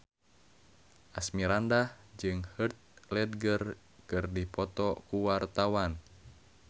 Asmirandah jeung Heath Ledger keur dipoto ku wartawan